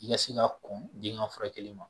I ka se ka kɔn den ŋa furakɛli ma